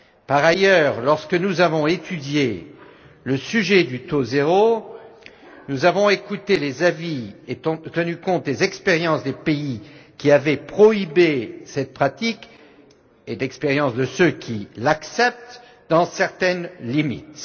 Par ailleurs, lorsque nous avons étudié la question du taux zéro, nous avons écouté les avis et tenu compte des expériences des pays qui avaient interdit cette pratique, et des expériences de ceux qui l'acceptent dans certaines limites.